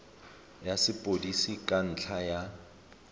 ya sepodisi ka ntlha ya